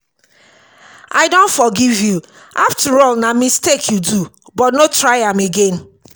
i don forgive you after all na mistake you do but no try am again